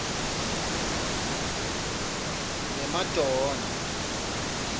lemadonna